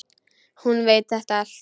Hún veit þetta allt.